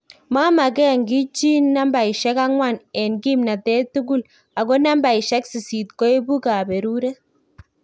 Mamagen gii chi nambaisiek angwan en kimnatet tukul, ako nambaisiek sisit koibu kaberuret